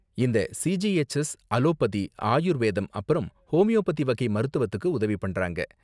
இந்த CGHS allopathy, ஆயுர்வேதம் அப்பறம் ஹோமியோபதி வகை மருத்துவத்துக்கு உதவி பண்றாங்க.